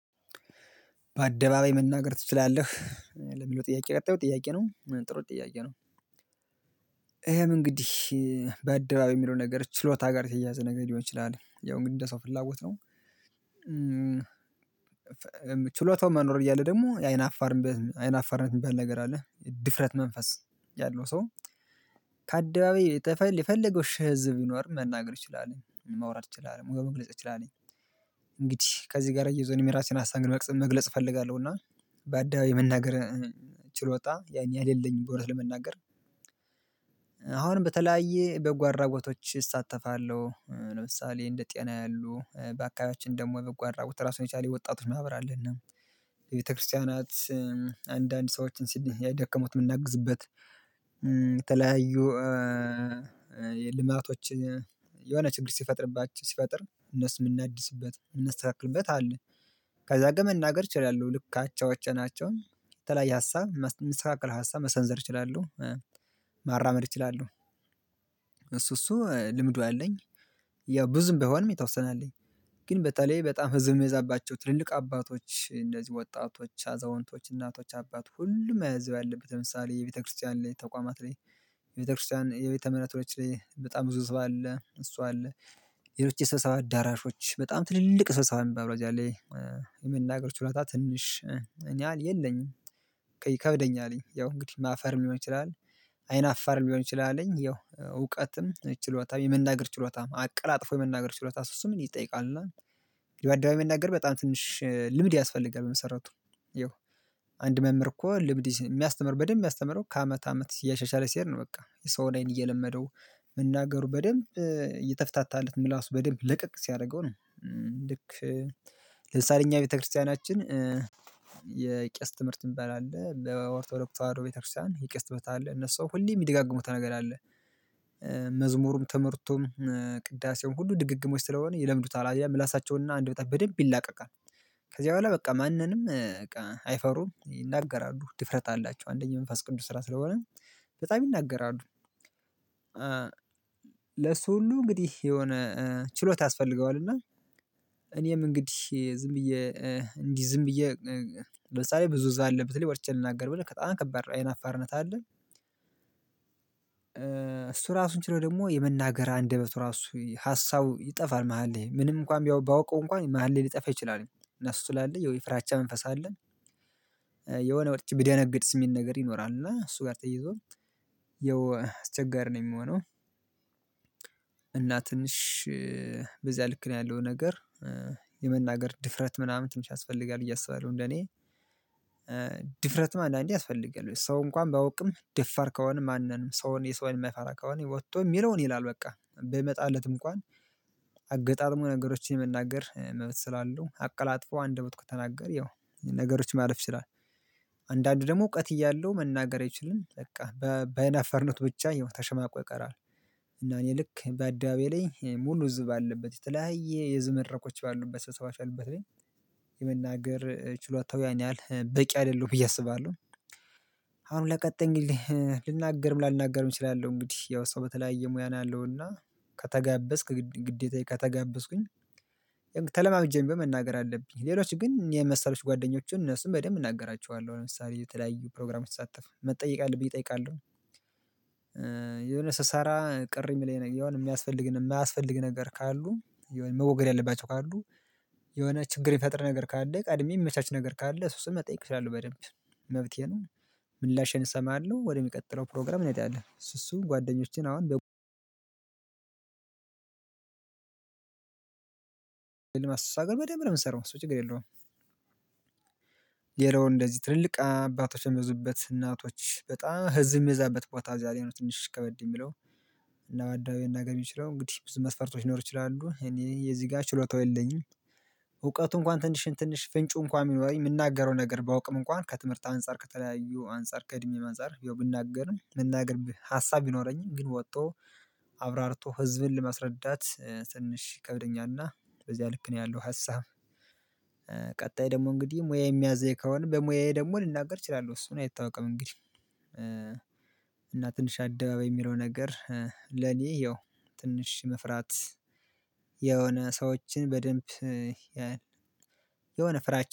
በአደባባይ መናገር ትችላለህ? ለሚለው ጥያቄ ቀጣዩ ጥያቄ ነው ጥሩ ጥያቄ ነው። ይሄም እንግዲህ በአደባባይ የሚለው ነገር ችሎታ ጋር የተያያዘ ነገር ሊሆን ይችላል ያው እንግዲህ እንደ ሰው ፍላጎት ነው። ችሎታው መኖር እያለ ደግሞ የአይን አፋርነት አይን አፋርነት የሚባል ነገር አለ። ድፍረት መንፈስ ያለው ሰው ከአደባባይ የተፈለገ የፈለገው ሽህ ህዝብ ቢኖር መናገር እችላለሁኝ ማውራት እችላለሁኝ መግለጽ እችላለሁኝ እንግዲህ ከዚህ ጋር አያይዞ እኔም የራሴን ሀሳብ እንግዲህ መግለጽ መግለጽ እፈልጋለሁ እና በአደባባይ የመናገር ችሎታ ያን ያህል የለኝም ብሎ እውነት ለመናገር በተለያየ በጎ አድራጎቶች እሳተፋለሁ። ለምሳሌ እንደ ጤና ያሉ በአካባቢያችን ደግሞ የበጎ አድራጎት ራሱን የቻለ የወጣቶች ማህበር አለና ለቤተክርስቲያናት አንዳንድ ሰዎችን የደከሙት ምናግዝበት የተለያዩ የልማቶች የሆነ ችግር ሲፈጥርባቸው ሲፈጥር እነሱ ምናድስበት ምናስተካክልበት አለ ከዛ ጋ መናገር ችላለሁ ልክ አቻዎቼ ናቸው የተለያየ ሀሳብ ሚስተካከል ሀሳብ መሰንዘር እችላለሁ ማራመድ እችላለሁ እሱ እሱ ልምዱ አለኝ ያው ብዙም ባይሆንም የተወሰነ አለኝ ግን በተለይ በጣም ህዝብ የሚያዛባቸው ትልልቅ አባቶች እነዚህ ወጣቶች አዛውንቶች እናቶች አባት ሁሉም ህዝብ ያለበት ለምሳሌ የቤተክርስቲያን ላይ ተቋማት ላይ ቤተክርስቲያን የቤተምህረቶች ላይ በጣም ብዙ ህዝብ አለ እሱ አለ። ሌሎች የስብሰባ አዳራሾች በጣም ትልልቅ ስብሰባ የሚባል ደረጃ ላይ የመናገር ችሎታ ትንሽ ያን ያህል የለኝም ይከብደኛልኝ ያው እንግዲህ ማፈርም ሊሆን ይችላል አይን አፋርም ሊሆን ይችላልኝ ያው እውቀትም ችሎታም የመናገር ችሎታም አቀላጥፎ የመናገር ችሎታ እሱ እሱን ይጠይቃል እና በአደባባይ መናገር በጣም ትንሽ ልምድ ያስፈልጋል በመሰረቱ ያው አንድ መምህር እኮ ልምድ የሚያስተምር በደንብ የሚያስተምረው ከአመት አመት እያሻሻለ ሲሄድ ነው በቃ የሰውን አይን እየለመደው መናገሩ በደንብ እየተፈታታለት ምላሱ በደንብ ለቀቅ ሲያደርገው ነው። ልክ ለምሳሌ እኛ ቤተክርስቲያናችን የቄስ ትምህርት ሚባል አለ በኦርቶዶክስ ተዋህዶ ቤተክርስቲያን የቄስት ትምህርት አለ እነሱ ሁሌ የሚደጋግሙት ነገር አለ መዝሙሩም ትምህርቱም ቅዳሴውም ሁሉ ድግግሞሽ ስለሆነ ይለምዱታል አየህ ምላሳቸውና አንደበታቸው በደንብ ይላቀቃል። ከዚያ በኋላ በቃ ማንንም በቃ አይፈሩም ይናገራሉ ድፍረት አላቸው። አንደኛ የመንፈስ ቅዱስ ስራ ስለሆነ በጣም ይናገራሉ ለሱ ሁሉ እንግዲህ የሆነ ችሎታ ያስፈልገዋል እና እኔም እንግዲህ ዝም ብዬ እንዲህ ዝም ብዬ ለምሳሌ ብዙ ሰው ያለበት ላይ ወጥቼ ልናገር ብል በጣም ከባድ ነው አይን አፋርነት አለ እሱ ራሱን ችሎ ደግሞ የመናገር አንደበቱ ራሱ ሀሳቡ ይጠፋል መሃል ላይ ምንም እንኳን ባውቀው እንኳን መሃል ላይ ሊጠፋ ይችላል። እና እሱ ስላለ ያው የፍራቻ መንፈስ አለ የሆነ ነገሮች ብደነግጥስ ሚል ነገር ይኖራል እና እሱ ጋር ተያይዞ ያው አስቸጋሪ ነው የሚሆነው። እና ትንሽ በዚያ ልክ ነው ያለው ነገር የመናገር ድፍረት ምናምን ትንሽ ያስፈልጋል ብዬ አስባለሁ እንደኔ ድፍረትም አንዳንዴ ያስፈልጋል። ወይ ሰው እንኳን ባያውቅም ደፋር ከሆነ ማንንም ሰውን የሰው የማይፈራ ከሆነ ወጥቶ የሚለውን ይላል በቃ። በሚመጣለት እንኳን አገጣጥሞ ነገሮችን የመናገር መብት ስላለው አቀላጥፎ አንደበቱ ከተናገረ ያው ነገሮች ማለፍ ይችላል። አንዳንዱ ደግሞ እውቀት እያለው መናገር አይችልም በቃ በአይን አፋርነቱ ብቻ ያው ተሸማቆ ይቀራል እና እኔ ልክ በአደባባይ ላይ ሙሉ ህዝብ ባለበት የተለያየ የህዝብ መድረኮች ባሉበት ስብሰባዎች ላይ የመናገር ችሎታው ያን ያህል በቂ አይደለሁም ብዬ አስባለሁ። አሁን ለቀጣይ እንግዲህ ልናገርም ላልናገርም እችላለሁ። እንግዲህ ያው ሰው በተለያየ ሙያ ነው ያለው እና ከተጋበዝክ ግዴታዬ ከተጋበዝኩኝ ተለማምጄም ቢሆን መናገር አለብኝ። ሌሎች ግን እኔን መሰሎች ጓደኞችን እነሱን በደንብ እናገራቸዋለሁ። ለምሳሌ የተለያዩ ፕሮግራሞች ስሳተፍ መጠየቅ ያለብኝ እጠይቃለሁ የሆነ ስሰራ ቅር ሚለኝ ነገር የሆነ የሚያስፈልግ እና የማያስፈልግ ነገር ካሉ የሆነ መወገድ ያለባቸው ካሉ የሆነ ችግር የሚፈጥር ነገር ካለ ቀድሜ የሚመቻች ነገር ካለ እሱ እሱን መጠየቅ እችላለው በደንብ። መብቴ ነው ምላሼን እሰማለሁ ወደሚቀጥለው ፕሮግራም እንሄዳለን እሱ እሱ ጓደኞቼን አሁን አሷ ጋር በደንብ ነው ምንሰራው። እሱ ችግር የለውም። ሌላው እንደዚህ ትልልቅ አባቶች የሚበዙበት እናቶች በጣም ህዝብ የሚበዛበት ቦታ እዛ ላይ ነው ትንሽ ከበድ የሚለው። እና በአደባባይ መናገር የሚችለው እንግዲህ ብዙ መስፈርቶች ሊኖሩ ይችላሉ እኔ እዚህ ጋ ችሎታው የለኝም። እውቀቱ እንኳን ትንሽ ትንሽ ፍንጩ እንኳን ቢኖረኝ ምናገረው ነገር ባውቅም እንኳን ከትምህርት አንፃር ከተለያዩ አንፃር ከእድሜም አንፃር ያው ብናገርም የመናገር ሀሳብ ቢኖረኝም ግን ወጥቶ አብራርቶ ህዝብን ለማስረዳት ትንሽ ይከብደኛልና በዚያ ልክ ነው ያለው ሀሳብ። ቀጣይ ደግሞ እንግዲህ ሙያዬ የሚያዘኝ ከሆነ በሙያዬ ደግሞ ልናገር እችላለሁ። እሱን አይታወቅም እንግዲህ እና ትንሽ አደባባይ የሚለው ነገር ለኔ ያው ትንሽ መፍራት የሆነ ሰዎችን በደንብ የሆነ ፍራቻ